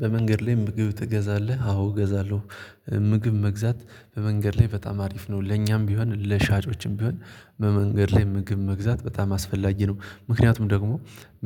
በመንገድ ላይ ምግብ ትገዛለህ? አዎ እገዛለሁ። ምግብ መግዛት በመንገድ ላይ በጣም አሪፍ ነው ለኛም ቢሆን ለሻጮችም ቢሆን በመንገድ ላይ ምግብ መግዛት በጣም አስፈላጊ ነው። ምክንያቱም ደግሞ